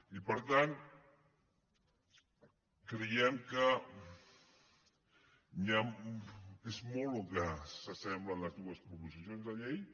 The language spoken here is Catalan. i per tant creiem que és molt el que s’assemblen les dues proposicions de llei